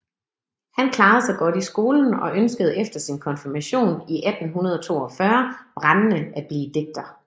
Han klarede sig godt i skolen og ønskede efter sin konfirmation i 1842 brændende at blive digter